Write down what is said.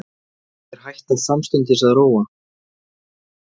Og þeir hætta samstundis að róa.